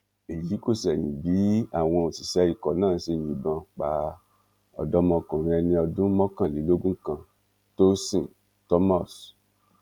èyí kò ṣẹyìn bí àwọn òṣìṣẹ ikọ náà ṣe yìnbọn pa ọdọmọkùnrin ẹni ọdún mọkànlélógún kan tósìn thomas